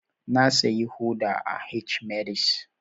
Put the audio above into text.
Na siya hodar a H-medix